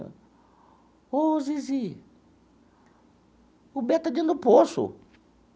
Ô, Zizi, o Beto está dentro do poço.